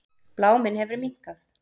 Bláminn hefur minnkað.